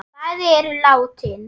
Bæði eru látin.